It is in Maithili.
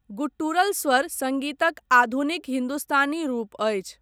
गुट्टुरल स्वर सङ्गीतक आधुनिक हिन्दुस्तानी रूप अछि।